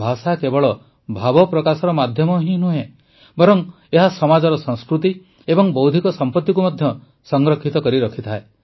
ଭାଷା କେବଳ ଭାବପ୍ରକାଶର ମାଧ୍ୟମ ହିଁ ନୁହେଁ ବରଂ ଏହା ସମାଜର ସଂସ୍କୃତି ଏବଂ ବୌଦ୍ଧିକ ସମ୍ପତିକୁ ମଧ୍ୟ ସଂରକ୍ଷିତ କରିରଖିଥାଏ